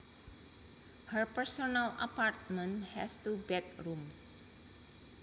Her personal apartment has two bedrooms